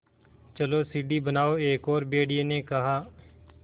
चलो सीढ़ी बनाओ एक और भेड़िए ने कहा